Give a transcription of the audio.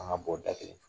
An ka bɔ da kelen